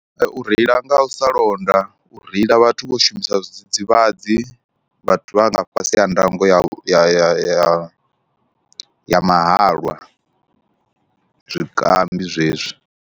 U reila nga u sa londa, u reila vhathu vho shumisa zwidzidzivhadzi, vhathu vha nga fhasi ha ndango ya ya ya ya mahalwa, zwikambi zwezwi.